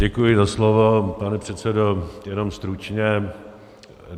Děkuji za slovo, pane předsedo, jenom stručně.